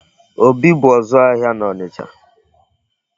Obi bụ ọzụ ahịa n'Ọnịcha.